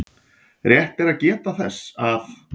Rétt er að geta þess að